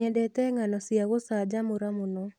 Nyendete ng'ano cia gũcanjamũra mũno.